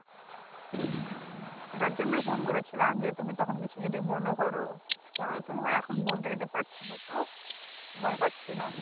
এটার জন্যই ফোন করেছিলাম যে তুমি তখন কিছু যদি মনে করো ধরো তোমাকে এখন বলত যদি পারছি না তো সময় পাচ্ছি না